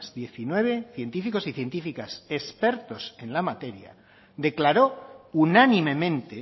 diecinueve científicos y científicas expertos en la materia declaró unánimemente